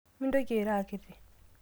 mintoki airo akiti